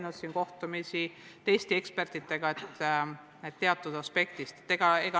Nad on Innove ja teiste ekspertidega kohtumisi.